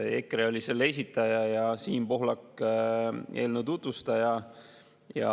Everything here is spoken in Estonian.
EKRE oli eelnõu esitaja ja Siim Pohlak selle tutvustaja.